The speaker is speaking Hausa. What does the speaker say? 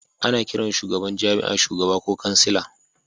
Ana kiran shugaban jami'a shugaba ko kansila